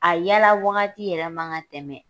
A yala wagati yɛrɛ man ka tɛmɛ.